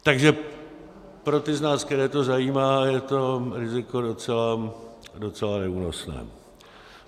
Takže pro ty z nás, které to zajímá, je to riziko docela neúnosné.